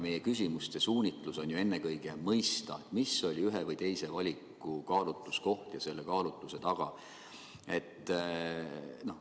Meie küsimuste suunitlus on ju ennekõike mõista, mis oli ühe või teise valiku puhul kaalutluskoht ja tehtud otsuse taga.